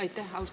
Aitäh!